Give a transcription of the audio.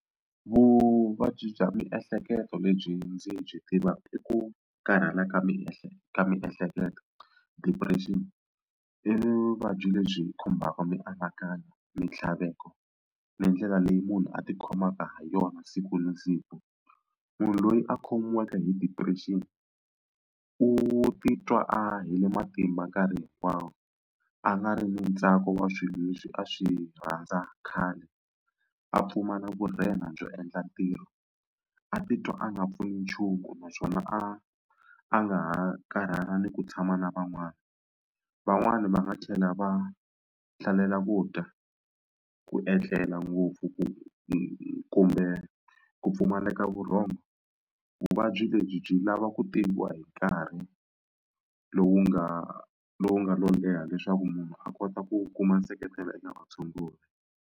Vuvabyi bya miehleketo lebyi ndzi byi tivaka i ku karhala ka ka miehleketo depression. I vuvabyi lebyi khumbaka mianakanyo, mintlhaveko ni ndlela leyi munhu a tikhomaka ha yona siku na siku. Munhu loyi a khomiwaka hi depression u titwa a heli matimba nkarhi hinkwawo a nga ri na ntsako wa swilo leswi a swi rhandza khale, a pfumala vurhenga byo endla ntirho a titwa a nga pfuni nchumu naswona a a nga ha karhala ni ku tshama na van'wani. Van'wani va nga tlhela va hlalela ku dya ku etlela ngopfu ku ku kumbe ku pfumaleka vurhongo. Vuvabyi lebyi byi lava ku tiviwa hi nkarhi lowu nga lowu nga lo leha leswaku munhu a kota ku kuma nseketelo eka vatshunguri.